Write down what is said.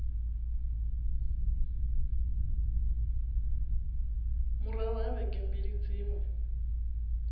murahu ha vhege mbili dziṅwe